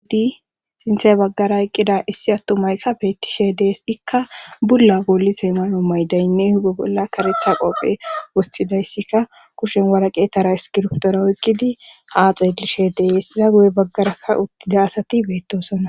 hudi sinthey baggara eqqida issi attu maykka beettishe dees ikka bulla goolisay malo maydaynne hugo bolla karetha qopphe wostidayssika kushen waraqetara iskirptora oykkidi ha xeelishe dees iza guye baggarakka uttida asati beettosona.